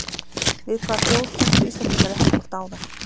Við hvaða þjóð kepptu Íslendingar í handbolta áðan?